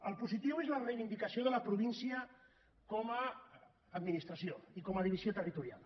el positiu és la reivindicació de la província com a administració i com a divisió territorial